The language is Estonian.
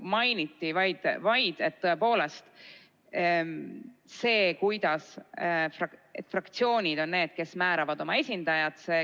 Mainiti vaid, et tõepoolest fraktsioonid on need, kes määravad oma esindajad.